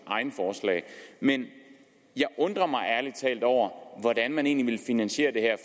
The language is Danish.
egne forslag men jeg undrer mig ærlig talt over hvordan man egentlig vi finansiere det her